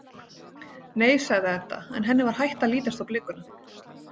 Nei, sagði Edda en henni var hætt að lítast á blikuna.